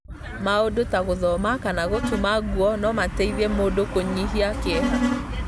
Maũndũ ta gũthoma kana gũtuma nguo no mateithie mũndũ kũnyihia kĩeha.